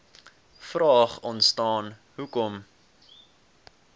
vraag ontstaan hoekom